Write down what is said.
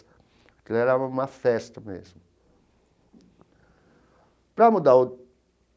Aquilo era uma festa mesmo. Para mudar o.